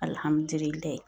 Alihamdullilaye